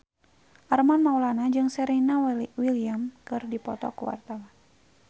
Armand Maulana jeung Serena Williams keur dipoto ku wartawan